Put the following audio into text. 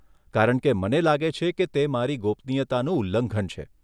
કારણ કે મને લાગે છે કે તે મારી ગોપનીયતાનું ઉલ્લંઘન છે.